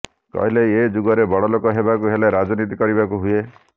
କହିଲେ ଏ ଯୁଗରେ ବଡଲୋକ ହେବାକୁ ହେଲେ ରାଜନୀତି କରିବାକୁ ହୁଏ